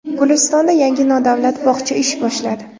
Gulistonda yangi nodavlat bog‘cha ish boshladi.